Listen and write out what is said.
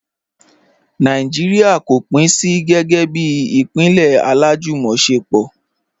Nàìjíríà kò pín sí gẹ́gẹ́ bí ìpínlẹ̀ alájùmọ̀ṣepọ̀.